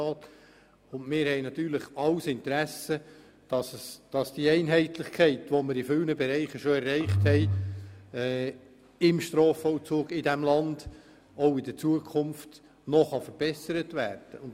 Wir haben natürlich alle ein Interesse daran, dass die Einheitlichkeit, die wir in vielen Bereichen des Strafvollzugs in diesem Land bereits erreicht haben, künftig noch verbessert werden kann.